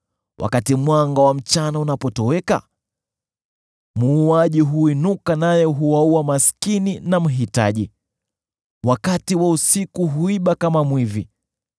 Wakati mwanga wa mchana unapotoweka, muuaji huinuka naye huwaua maskini na mhitaji; wakati wa usiku hunyemelea kama mwizi.